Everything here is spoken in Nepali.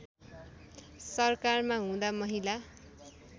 सरकारमा हुँदा महिला